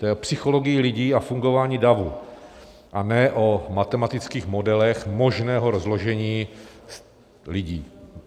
To je (o) psychologii lidí a fungování davu, a ne o matematických modelech možného rozložení lidí.